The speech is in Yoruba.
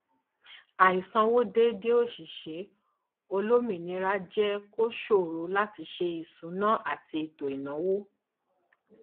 àìsanwó déedé òṣìṣẹ olómìnira jẹ kó ṣòro láti sé ìṣúná ati ètò ìnáwó